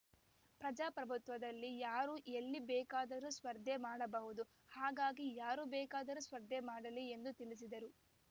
ಪ್ರಜಾಪ್ರಭುತ್ವದಲ್ಲಿ ಯಾರು ಎಲ್ಲಿ ಬೇಕಾದರೂ ಸ್ಪರ್ಧೆ ಮಾಡಬಹುದು ಹಾಗಾಗಿ ಯಾರು ಬೇಕಾದರೂ ಸ್ಪರ್ಧೆ ಮಾಡಲಿ ಎಂದು ತಿಳಿಸಿದರು